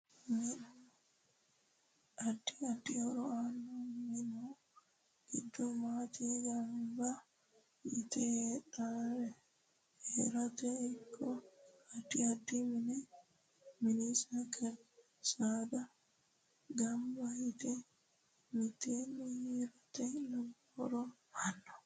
Minu addi addi horo aano minu giddo maate gamba yite heerate ikko addi addi mini saada ganba yite miteeni heerate lowo horo aanno